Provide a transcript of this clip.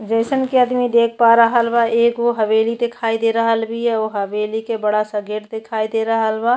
जइसन कि आदमी देख पा रहल बा एगो हवेली दिखाई दे रहल बीया। उ हवेली के बड़ा सा गेट दिखाई दे रहल बा।